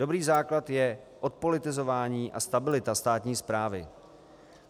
Dobrý základ je odpolitizování a stabilita státní správy.